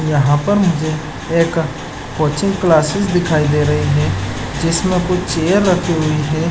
यहाँ पर मुझे एक कोचिंग क्लासेज दिखाई दे रही है जिसमें कुछ चेयर रखी हुई हैं।